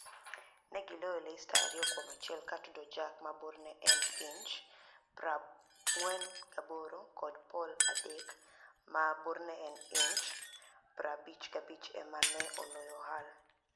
ni e giloyo Leicester ariyo kuom achiel ka Atudo jack (46+2') kod Poul Adek (55') ema ni e oloyo Hull